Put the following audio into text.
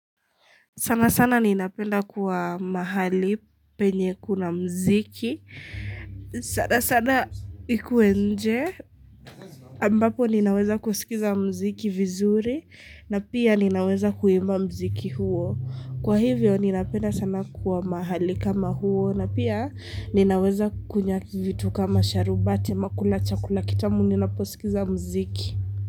Sana sana ninapenda kuwa mahali penye kuna mziki. Sana sana ikue nje. Ambapo ninaweza kusikiza mziki vizuri na pia ninaweza kuimba mziki huo. Kwa hivyo ninapenda sana kuwa mahali kama huo na pia ninaweza kukunyaki vitu kama sharubati ama kula chakula kitamu ninapo sikiza mziki.